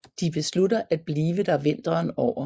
De beslutter at bliver der vinteren over